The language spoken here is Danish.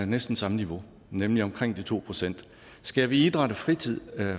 næsten samme niveau nemlig omkring de to procent skærer vi idræt og fritid